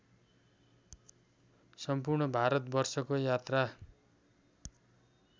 सम्पूर्ण भारतवर्षको यात्रा